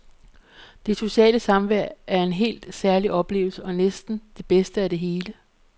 Det sociale samvær er en helt særlig oplevelse og næsten det bedste af det hele.